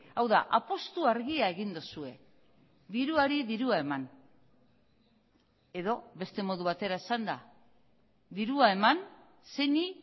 hau da apustu argia egin duzue diruari dirua eman edo beste modu batera esanda dirua eman zeini